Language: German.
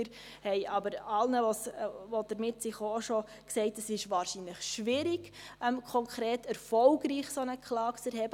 Wir haben aber allen, die damit gekommen sind, schon gesagt, es sei wahrscheinlich schwierig, konkret eine solche Klage erfolgreich zu erheben.